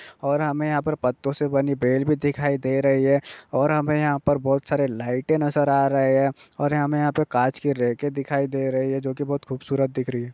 और हमें यहाँ पर पत्तो से बनी पेड़ भी दिखाई दे रही है और हमें यहां पर बहुत सारी लाइटें नजर आ रहे हैं और हमें यहां पर कांच के रैके दिखाई दे रहे हैं जोकि बहुत खूबसूरत दिख रही हैं।